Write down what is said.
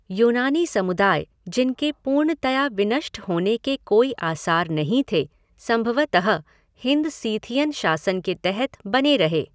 यूनानी समुदाय, जिनके पूर्णतया विनष्ट होने के कोई आसार नहीं थे, संभवतः हिंद सीथियन शासन के तहत बने रहे।